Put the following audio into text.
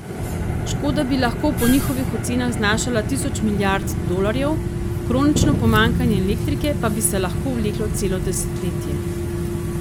Škoda bi lahko po njihovih ocenah znašala tisoč milijard dolarjev, kronično pomanjkanje elektrike pa bi se lahko vleklo celo desetletje.